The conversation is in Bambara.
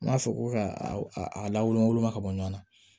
N b'a fɔ ko ka a lawulunma ka bɔ ɲɔn na